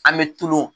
An bɛ tulon